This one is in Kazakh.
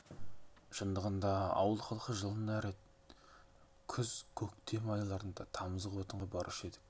шындығында ауыл халқы жылына рет күз көктем айларында тамызық отынға барушы едік